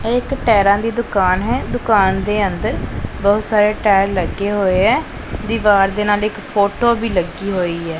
ਇਹ ਇੱਕ ਟਾਇਰਾਂ ਦੀ ਦੁਕਾਨ ਹੈ ਦੁਕਾਨ ਦੇ ਅੰਦਰ ਬਹੁਤ ਸਾਰੇ ਟਾਇਰ ਲੱਗੇ ਹੋਏ ਐ ਦੀਵਾਰ ਦੇ ਨਾਲ ਇਕ ਫੋਟੋ ਵੀ ਲੱਗੀ ਹੋਈ ਐ।